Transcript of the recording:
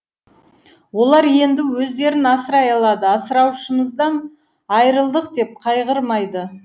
олар енді өздерін асырай алады асыраушымыздан айырылдық деп қайғырмайды